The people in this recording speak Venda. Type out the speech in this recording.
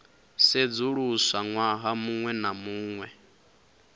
sedzuluswa ṅwaha muṅwe na muṅwe